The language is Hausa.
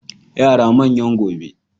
Yara manyan gobe.